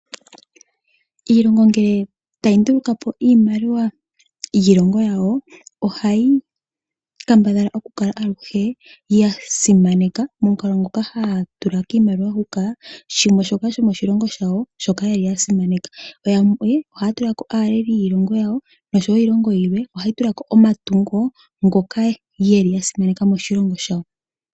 Iilongo ngele tayi nduluka po iimaliwa yiilongo yawo ohayi kambadhala okukala aluhe ya simaneka momukalo ngoka haya tula kiimaliwa huka shimwe shoka shomoshilongo shawo shoka ye li ya simaneka. Yo yamwe ohaya tula ko aaleli yiilongo yawo nosho wo iilongo yilwe ohayi tula ko omatungo ngoka ye li ya simaneka moshilongo shawo.